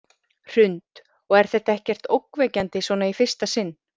Hrund: Og er þetta ekkert ógnvekjandi svona í fyrsta sinn?